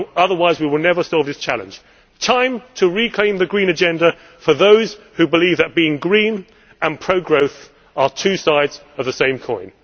Otherwise, we will never solve this challenge. It is time to reclaim the green agenda for those who believe that being green and pro growth are two sides of the same coin.